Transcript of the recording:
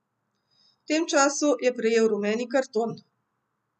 V tem času je prejel rumeni karton.